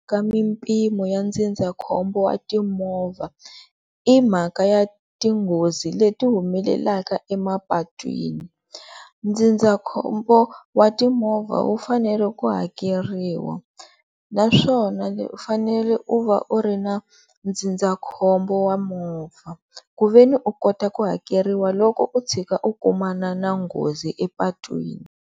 Ka mimpimo ya ndzindzakhombo wa timovha i mhaka ya ti nghozi leti humelelaka emapatwini, ndzindzakhombo wa timovha wu fanele ku hakeriwa naswona u fanele u va u ri na ndzindzakhombo wa movha ku ve ni u kota ku hakeriwa loko u tshika u kumana na nghozi epatwini.